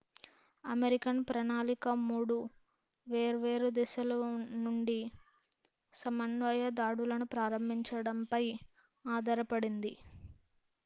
American ప్రణాళిక 3 వేర్వేరు దిశల నుండి సమన్వయ దాడులను ప్రారంభించడంపై ఆధారపడింది